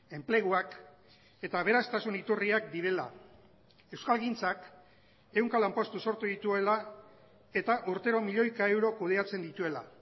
enpleguak eta aberastasun iturriak direla euskalgintzak ehunka lanpostu sortu dituela eta urtero milioika euro kudeatzen dituela